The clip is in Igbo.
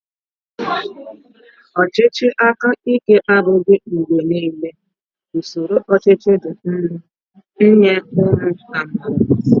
Ọchịchị aka ike abụghị mgbe niile usoro ọchịchị dị mma nye ụmụ amaala